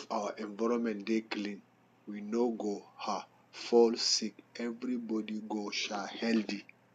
if our environment dey clean we no go um fall sick everybody go um healthy